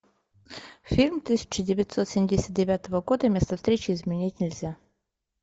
фильм тысяча девятьсот семьдесят девятого года место встречи изменить нельзя